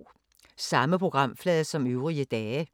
Samme programflade som øvrige dage